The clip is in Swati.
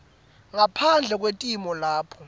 ngaphandle kwetimo lapho